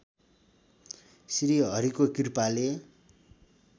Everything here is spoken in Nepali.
श्रीहरिको कृपाले